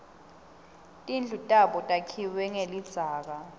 tindlu tabo takhiwe ngelidzaka